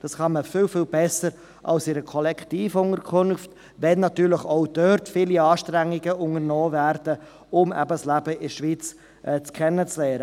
Dies kann man viel besser als in einer Kollektivunterkunft, obwohl auch dort sehr viele Anstrengungen unternommen werden, um das Leben in der Schweiz kennenzulernen.